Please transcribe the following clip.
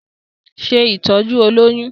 Ṣe ìtọ́jú olóyún!